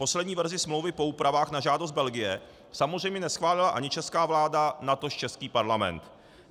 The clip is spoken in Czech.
Poslední verzi smlouvy po úpravách na žádost Belgie samozřejmě neschválila ani česká vláda, natož český Parlament.